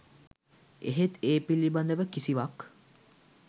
එහෙත් ඒ පිළිබඳව කිසිවක්